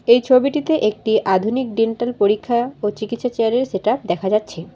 এই ছবিটিতে একটি আধুনিক ডেন্টাল পরীক্ষা ও চিকিৎসা চেয়ারের সেট আপ দেখা যাচ্ছে।